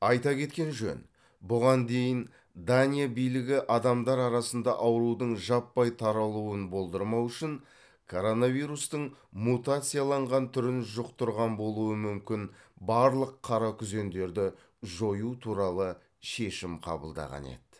айта кеткен жөн бұған дейін дания билігі адамдар арасында аурудың жаппай таралуын болдырмау үшін коронавирустың мутацияланған түрін жұқтырған болуы мүмкін барлық қаракүзендерді жою туралы шешім қабылдаған еді